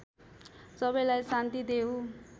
सबैलाई शान्ति देऊ